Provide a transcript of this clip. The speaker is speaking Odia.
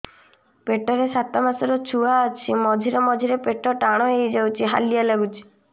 ପେଟ ରେ ସାତମାସର ଛୁଆ ଅଛି ମଝିରେ ମଝିରେ ପେଟ ଟାଣ ହେଇଯାଉଚି ହାଲିଆ ଲାଗୁଚି